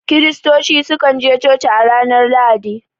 Kiristoci su kan je coci a ranar Lahadi